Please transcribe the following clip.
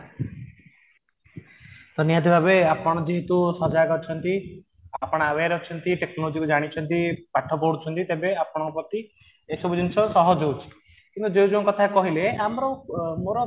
ତ ନିହାତି ଭାବେ ଆପଣ ଯେହେତୁ ସଜାଗ ଅଛନ୍ତି ଆପଣ aware ଅଛନ୍ତି ଟେକ୍ନୋଲୋଜି କୁ ଜାଣିଛନ୍ତି ପାଠ ପଢୁଛନ୍ତି ତେବେ ଆପଣ ଙ୍କ ପ୍ରତି ଏସବୁ ଜିନିଷ ସହଜ ହଉଚି କିନ୍ତୁ ଯୋଉ ଯୋଉ କଥା କହିଲେ ମୋର